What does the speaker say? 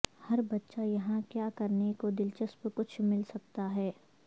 ہر بچہ یہاں کیا کرنے کو دلچسپ کچھ مل سکتا ہے